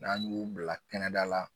N'an y'u bila kɛnɛda la